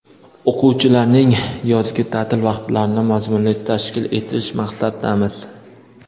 o‘quvchilarning yozgi taʼtil vaqtlarini mazmunli tashkil etish maqsadidamiz.